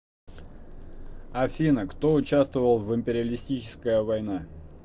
афина кто участвовал в империалистическая война